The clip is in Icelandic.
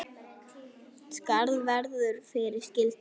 Skarð verður fyrir skildi.